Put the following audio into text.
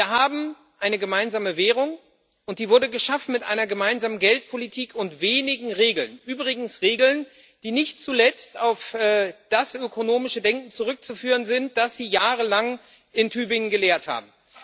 Wir haben eine gemeinsame Währung, und die wurde geschaffen mit einer gemeinsamen Geldpolitik und wenigen Regeln übrigens Regeln, die nicht zuletzt auf das ökonomische Denken zurückzuführen sind, das Sie jahrelang in Tübingen gelehrt haben.